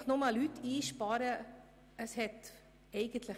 Einfach nur Stellen einzusparen, ist nicht möglich.